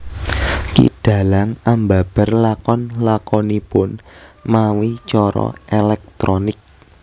Ki dhalang ambabar lakon lakonipun mawi cara elektronik